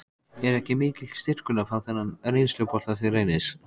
Er ekki mikill styrkur að fá þennan reynslubolta til Reynis?